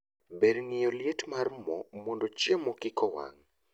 Ber ng'iyo liet mar moo mondo chiemo kikowang'